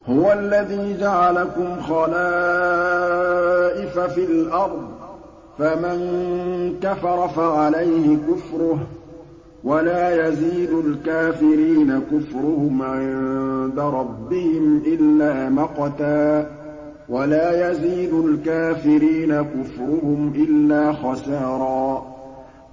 هُوَ الَّذِي جَعَلَكُمْ خَلَائِفَ فِي الْأَرْضِ ۚ فَمَن كَفَرَ فَعَلَيْهِ كُفْرُهُ ۖ وَلَا يَزِيدُ الْكَافِرِينَ كُفْرُهُمْ عِندَ رَبِّهِمْ إِلَّا مَقْتًا ۖ وَلَا يَزِيدُ الْكَافِرِينَ كُفْرُهُمْ إِلَّا خَسَارًا